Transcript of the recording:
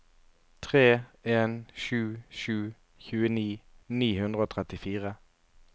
tre en sju sju tjueni ni hundre og trettifire